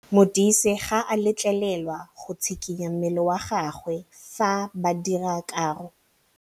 Modise ga a letlelelwa go tshikinya mmele wa gagwe fa ba dira karô.